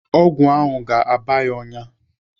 Ọgwụ ahụ ga-aba ya ọnyá.